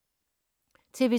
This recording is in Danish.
TV 2